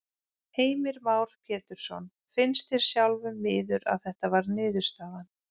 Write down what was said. Heimir Már Pétursson: Finnst þér sjálfum miður að þetta varð niðurstaðan?